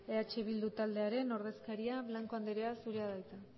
eh bildu taldearen ordezkaria blanco andrea zurea da hitza